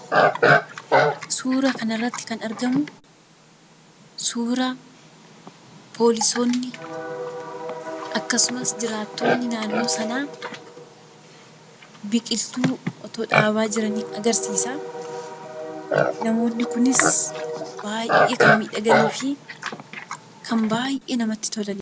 Suuraa kanarratti kan argamu suura poolisoonni akkasumas jiraattonni naannoo sanaa biqiltuu otoo dhaabaa jiranii agarsiisa. Namoonni kunis baay'ee kan miidhaganii fi kan baay'ee namatti tolanidha.